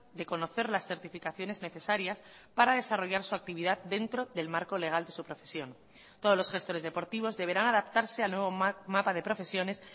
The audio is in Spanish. de conocer las certificaciones necesarias para desarrollar su actividad dentro del marco legal de su profesión todos los gestores deportivos deberán adaptarse al nuevo mapa de profesiones